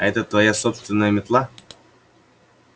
а это твоя собственная метла